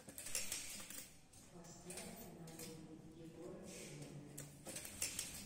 поставь надо ли егора крида